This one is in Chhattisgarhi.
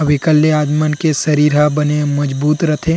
अब एकल ले आप मन के शरीर हा बने मजबूत रथे--